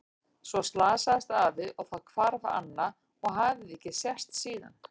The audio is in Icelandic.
En svo slasaðist afi og þá hvarf Anna og hafði ekki sést síðan.